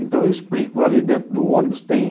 Então eu explico, ali dentro do ônibus tem